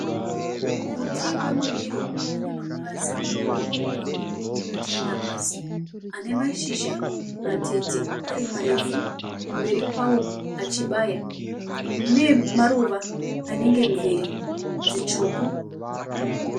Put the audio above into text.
Muti wemuwiro une mapazi akakombama akatarira pasi, ane mashizha matete ari marefu, kumberi kwawo achibaya. Une maruva anenge mvere dzitsvuku